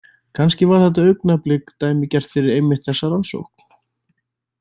Kannski var þetta augnablik dæmigert fyrir einmitt þessa rannsókn.